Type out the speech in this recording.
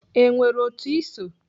E nwere otu Ị so?